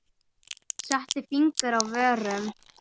Setti fingur að vörum.